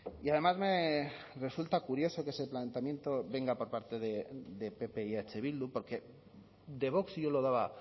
y además me resulta curioso que ese planteamiento venga por parte de pp y eh bildu porque de vox yo lo daba